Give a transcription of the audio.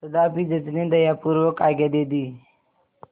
तथापि जज ने दयापूर्वक आज्ञा दे दी